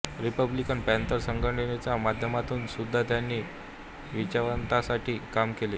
Republican Panther संघटनेच्या माध्यमातून सुद्धा त्यांनी वंचितांसाठी काम केले